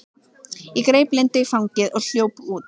Ég greip Lindu í fangið og hljóp út.